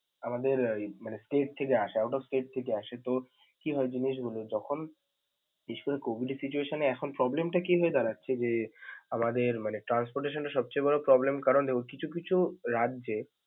আমাদের এর ইয়ে মানে state থেকে আসা মানে out of state থেকে আসে তো কি হয় জিনিসগুলো যখন বিশেষ করে COVID এর situation এর এখন problem টা কি হয়ে দাড়াচ্ছে যে আমাদের transportation এর সবচেয়ে বড় problem কারন কিছু কিছু রাজ্যে।